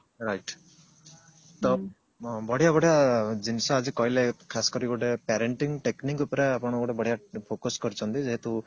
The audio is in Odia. right ତ ବଢିଆ ବଢିଆ ଜିନିଷ ଆଜି କହିଲେ ଖାସ କରିକି ଗୋଟେ parenting technique ଉପରେ ଆପଣ ଗୋଟେ ବଢିଆ focus କରିଛନ୍ତି ଯେହେତୁ